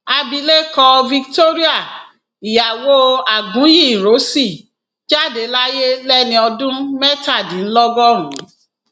abilékọ victoria ìyàwó aguiyi ironsi jáde láyé lẹni ọdún mẹtàdínlọgọrùn